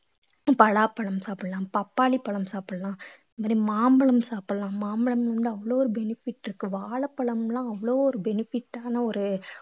பலாப்பழம் சாப்பிடலாம் பப்பாளி பழம் சாப்பிடலாம் அதே மாதிரி மாம்பழம் சாப்பிடலாம் மாம்பழம் வந்து அவ்ளோ ஒரு benefit இருக்கு வாழைப்பழம்லாம் அவ்வளவு ஒரு benefit ஆன ஒரு